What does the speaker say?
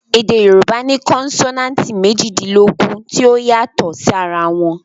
Èdè Yorùbá ní konsonanti méjìdínlógún tí ó yàtò sí ara wọn